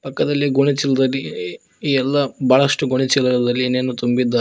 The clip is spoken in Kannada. ಪಕ್ಕದಲ್ಲಿ ಗೋಣಿ ಚೀಲದಲ್ಲಿ ಎಲ್ಲ ಬಾಳಷ್ಟು ಗೋಣಿ ಚೀಲಗಳಲ್ಲಿ ಏನ್ ಏನೋ ತುಂಬಿದ್ದಾರೆ.